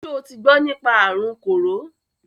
Ṣo ti gbọ nípa àrun kòró?